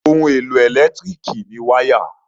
Ohun-èlò ẹ̀lẹ́tíríkì ni wáyà.